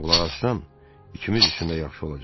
ikimiz üçün də yaxşı olacaq.